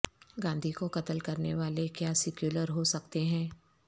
گاندھی کو قتل کرنے والے کیا سیکولر ہو سکتے ہیں